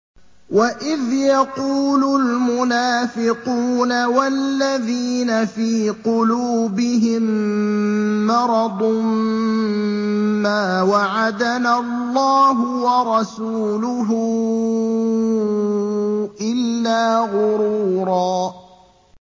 وَإِذْ يَقُولُ الْمُنَافِقُونَ وَالَّذِينَ فِي قُلُوبِهِم مَّرَضٌ مَّا وَعَدَنَا اللَّهُ وَرَسُولُهُ إِلَّا غُرُورًا